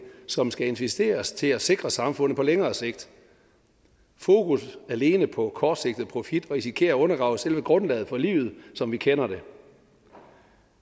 som skal investeres til at sikre samfundet på længere sigt fokus alene på kortsigtet profit risikerer at undergrave selve grundlaget for livet som vi kender det